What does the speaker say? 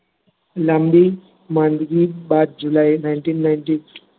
લાંબી માંદગી બાદ july, nineteen ninety